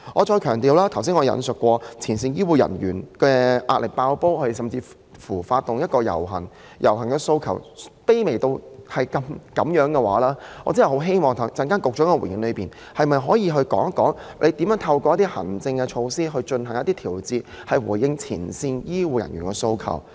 正如我剛才強調，前線醫護人員壓力"爆煲"，以致要發起遊行，但他們的訴求卻是如此卑微，我真的很希望局長稍後回應時可以說明如何能透過行政措施進行調節，以回應前線醫護人員的訴求。